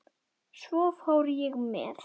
Svo fór ég með